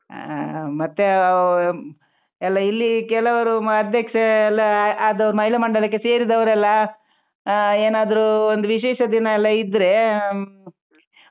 ಹಾ ಮತ್ತೆ ಎಲ್ಲಾ ಇಲ್ಲಿ ಕೆಲವರು ಅಧ್ಯಕ್ಷ ಎಲ್ಲಾ ಆದವರು ಮಹಿಳಾ ಮಂಡಲಕ್ಕೆ ಸೇರಿದವರು ಎಲ್ಲಾ ಹಾ ಏನಾದ್ರು ಒಂದು ವಿಶೇಷ ದಿನಾಯೆಲ್ಲಾ ಇದ್ರೆ ಹ್ಮ್